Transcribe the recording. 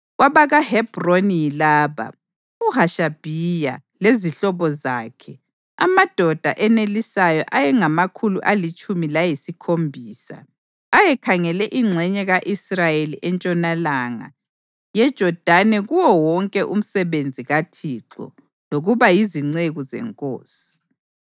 KwabakaHebhroni yilaba: UHashabhiya lezihlobo zakhe, amadoda enelisayo ayengamakhulu alitshumi layisikhombisa ayekhangele ingxenye ka-Israyeli entshonalanga yeJodani kuwo wonke umsebenzi kaThixo lokuba yizinceku zenkosi.